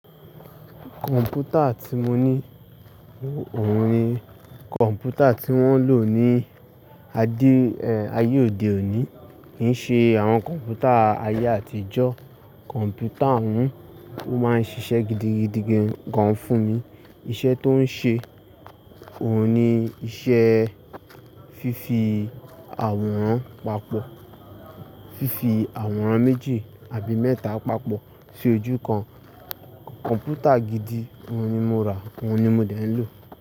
Kọ̀m̀pútà tí mo ní òun ni kọ̀m̀pútà tí wọ́n ń lò ní ayé òde òní. Kì í ṣe àwọn kọ̀m̀pútà ayé àtijọ́. Kọ̀m̀pútà ọ̀hún, ó máa ń ṣiṣẹ́ gidigidi gan-an fún mi. Iṣẹ́ tó ń ṣe, òun ni iṣẹ́ fífi àwọ̀rán pààpọ̀. Fífi àwọ̀rán méjì àbí mẹ́ta pààpọ̀ sí ojú kan. Kọ̀m̀pútà gidi, òun ni mo rà, òun ni mo dẹ̀ ń lò.